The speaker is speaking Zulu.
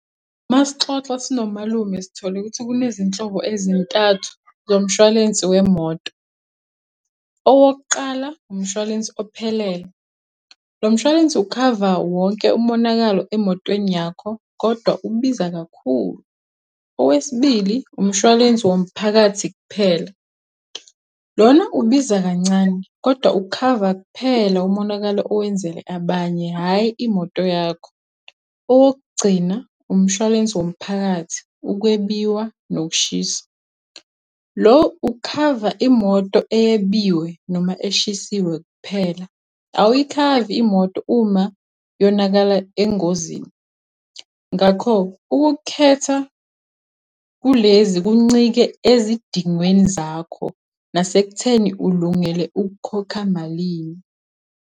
Uma sixoxa sinomalume sithole ukuthi kunezinhlobo ezintathu zomshwalensi wemoto. Owokuqala, umshwalensi ophelele, lo mshwalensi ukhava wonke umonakalo emotweni yakho kodwa ubiza kakhulu. Owesibili, umshwalensi womphakathi kuphela, lona ubiza kancane kodwa ukhava kuphela umonakalo owenzele abanye, hhayi imoto yakho. Owokugcina, umshwalensi womphakathi, ukwebiwa nokushisa, lo ukhava imoto eyebiwe noma eshisiwe kuphela, awuyikhavi imoto uma yonakala engozini. Ngakho ukukhetha kulezi kuncike ezidingweni zakho nasekutheni ulungele ukukhokha malini.